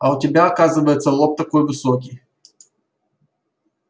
а у тебя оказывается лоб такой высокий